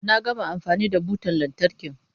Na gama amfani da butan lantarkin.